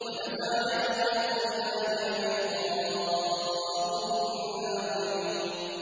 وَنَزَعَ يَدَهُ فَإِذَا هِيَ بَيْضَاءُ لِلنَّاظِرِينَ